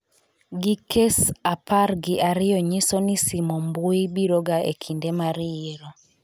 gi kes apar gi ariyo nyiso ni simo mbui biro ga ekinde mar yiero